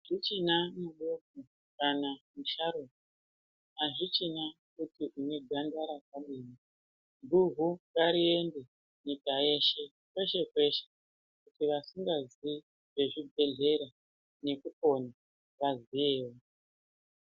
Azvichina mudoko kana musharukwa, azvichina kuti unedhandara rakadini, guhu ngariende nyika yeshe Peshe peshe kuti vasingaziii zvezvibhedhlera ngekupona vaziyewo.